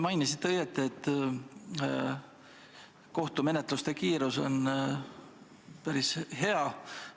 Mainisite õigesti, et kohtumenetluste kiirus on päris hea.